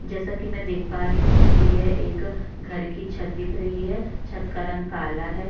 जैसा कि मैं देख पा रही हूं मुझे यह एक घर की छत दिख रही है छत का रंग काला है।